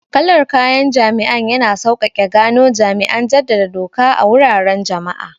Kalar kayan jami'an yana sauƙaƙe gano jami'an jaddada doka a wuraren jama'a.